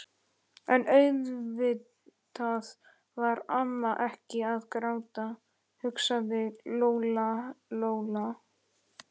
En auðvitað var amma ekkert að gráta, hugsaði Lóa-Lóa.